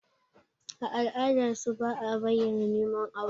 A ala'adarsu, ba a bayyana neman aure.